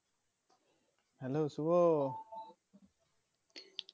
hello Shubho